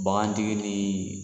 Bagantigi ni